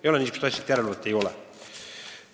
Ei ole nii, et järelevalvet ei ole.